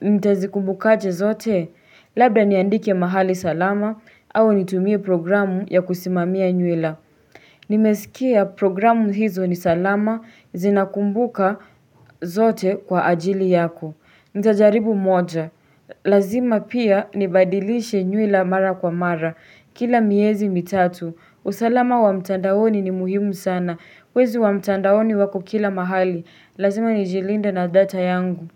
nitazikumbukache zote. Labda niandike mahali salama au nitumie programu ya kusimamia nyuila. Nimesikia programu hizo nisalama zinakumbuka zote kwa ajili yako. Ntajaribu moja. Lazima pia nibadilishe nyuila mara kwa mara. Kila miezi mitatu. Usalama wa mtandaoni ni muhimu sana. Wezi wa mtandaoni wako kila mahali. Lazima nijilinde na data yangu.